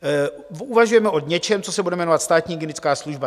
Uvažujeme o něčem, co se bude jmenovat Státní hygienická služba.